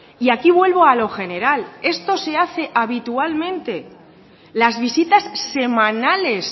y aquí vuelvo a lo general esto se hace habitualmente las visitas semanales